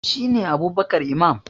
shi ne Abubkar Imam